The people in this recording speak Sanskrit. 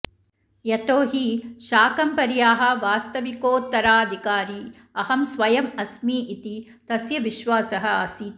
यतो हि शाकम्भर्याः वास्तविकोत्तराधिकारी अहं स्वयम् अस्मि इति तस्य विश्वासः आसीत्